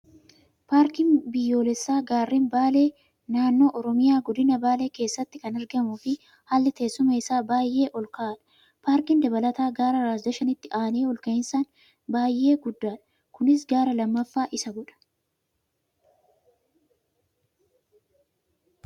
Paarkiin biyyoolessaa gaarren Baalee naannoo oromiyaa godina baalee keessatti kan argamuu fi haalli tessuma isaa baay'ee ol ka'aadha. Paarkiin dabalata gaara Raas Dashanitti aanee ol ka'insaan baay'ee guddaadha. Kunis gaara lammaffaa isa godha.